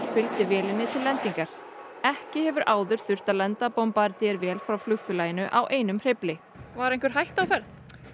fylgdi vélinni til lendingar ekki hefur áður þurft að lenda vél frá flugfélaginu á einum hreyfli var einhver hætta á ferð